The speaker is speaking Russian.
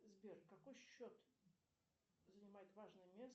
сбер какой счет занимает важное место